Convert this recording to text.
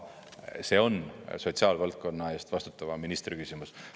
See on sotsiaalvaldkonna eest vastutava ministri küsimus.